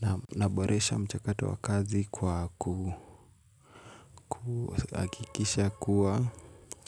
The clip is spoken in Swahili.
Naam naboresha mchakato wa kazi kwa kuhakikisha kuwa